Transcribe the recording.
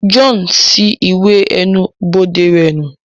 John ṣi iwè ẹnu-bode rẹ nu